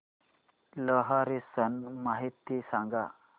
लोहरी सण माहिती सांगा